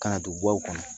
Ka na don baw kɔnɔ